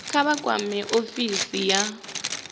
kha vha kwame ofisi ya